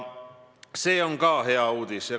See on ka hea uudis.